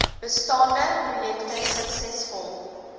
bestaande projekte suksesvol